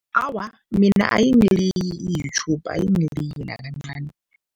Awa, mina ayingiliyi i-YouTube, ayingiliyi nakancani.